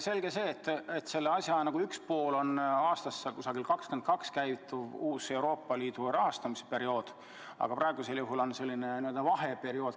Selge see, et probleemi lahenduse üks pool on aastast 2022 käivituv uus Euroopa Liidu rahastamisperiood, aga praegu on selline n-ö vaheperiood.